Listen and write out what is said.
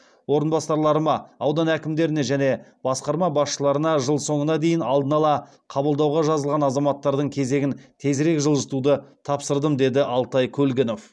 орынбасарларыма аудан әкімдеріне және басқарма басшыларына жыл соңына деи ін алдын ала қабылдауға жазылған азаматтардың кезегін тезірек жылжытуды тапсырдым деді алтай көлгінов